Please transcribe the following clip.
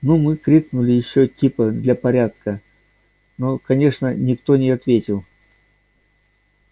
ну мы крикнули ещё типа для порядка но конечно никто не ответил